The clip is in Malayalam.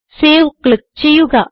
സേവ് ക്ലിക്ക് ചെയ്യുക